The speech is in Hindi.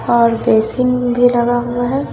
और बेसिन भी लगा हुआ है।